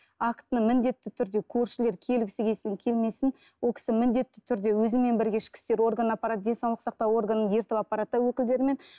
актіні міндетті түрде көршілер келгісі келсін келмесін ол кісі міндетті түрде өзімен бірге ішкі істер органына апарады денсаулық сақтау органын ертіп апарады да өкілдерімен